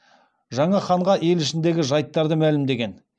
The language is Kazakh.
жаңа ханға ел ішіндегі жайттарды мәлімдеген